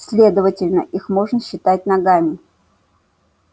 следовательно их можно считать ногами